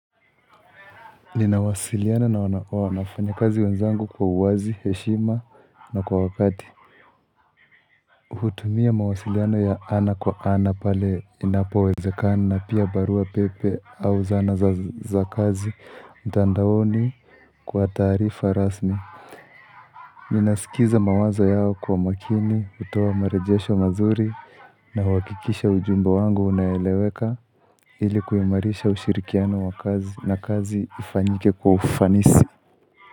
Ninawasiliana na wanafanya kazi wenzangu kwa uwazi, heshima na kwa wakati Uhutumia mawasiliano ya ana kwa ana pale inapo wezekana na pia barua pepe au zana za kazi mtandaoni Kwa taarifa rasmi ninasikiza mawazo yao kwa makini kutoa marejesho mazuri na huakikisha ujumbe wangu unaeleweka Ili kuimarisha ushirikiano wa kazi na kazi ifanyike kwa ufanisi.